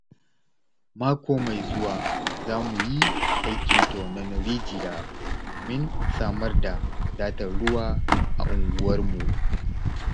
Mako mai zuwa za mu yi aikin tonon rijiya domin samar da wadatar ruwa a unguwarmu.